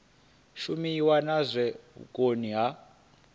shumiwe na zwa vhukoni ha